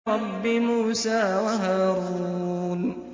رَبِّ مُوسَىٰ وَهَارُونَ